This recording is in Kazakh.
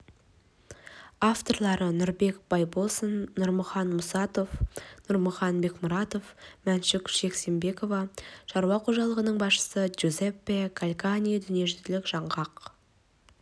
авторлары нұрбек байбосын нұрмахан мұсатов нұрмахан бекмұратов мәншүк жексембекова шаруа қожалығының басшысы джузеппе калькани дүниежүзілік жаңғақ